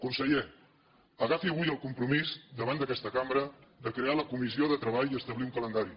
conseller agafi avui el compromís davant d’aquesta cambra de crear la comissió de treball i establir un calendari